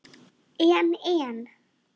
En. en.